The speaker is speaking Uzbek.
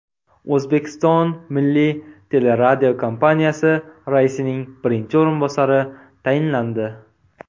O‘zbekiston Milliy teleradiokompaniyasi raisining birinchi o‘rinbosari tayinlandi.